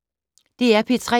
DR P3